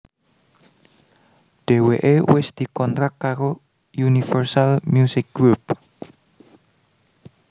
Dheweké wis dikontrak karo Universal Musik Group